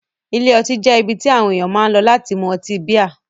Ilé ọtí jẹ́ ibi tí àwọn ènìyàn máa ń lọ láti mú ọtí bíà.